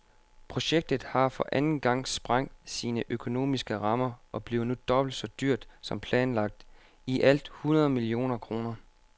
Projektet har for anden gang sprængt sine økonomiske rammer og bliver nu dobbelt så dyrt som planlagt, i alt hundrede millioner kroner.